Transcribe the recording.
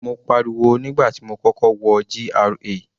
Mo pariwo nígbà tí mo kọ́kọ́ wọ GRA.